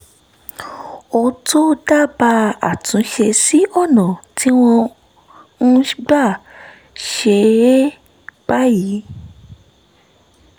ó tó dábàá àtúnṣe sí ọ̀nà tí wọ́n ń gbà ṣe é báyìí